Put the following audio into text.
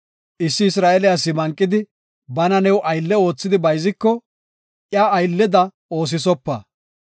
Issi Isra7eele asi manqidi, bana new aylle oothidi bayziko iya aylleda oosisopa.